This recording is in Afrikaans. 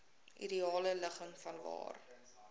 ideale ligging vanwaar